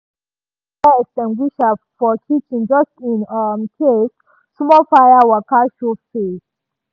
e keep fire extinguisher for kitchen just in um case small fire waka show face.